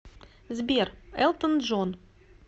сбер элтон джон